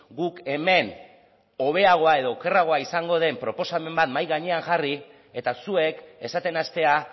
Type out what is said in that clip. guk hemen hobeagoa edo okerragoa izango den proposamen bat mahai gainean jarri eta zuek esaten hastea